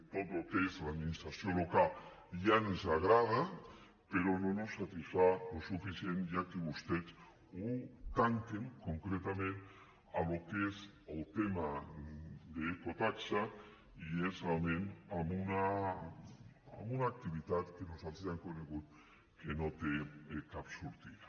tot el que és l’administració local ja ens agrada però no mos satisfà suficientment ja que vostès ho tanquen concretament al que és el tema de l’ecotaxa i és realment amb una activitat que nosaltres ja hem conegut que no té cap sortida